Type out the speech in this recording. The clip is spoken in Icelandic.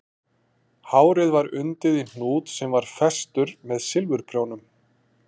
Hárið var undið í hnút sem var festur með silfurprjónum